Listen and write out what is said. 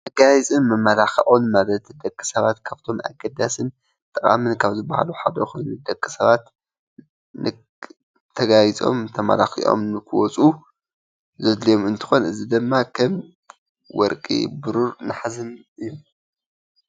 መጋየፂ መመላክዕን ማለት ደቂ ሰባት ካብቶምኣገዳስን ጠቃምን ዝብሃሉ ሓደ ኮይኑ ንደቂ ሰባት ተጋይፆም ተመላኪዖምን ንክወፁ ዘድልዮም እንትኾን እዚ ድማ ከም ወርቂ ፣ቡሩር፣ ነሃስን እዮም።